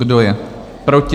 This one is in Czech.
Kdo je proti?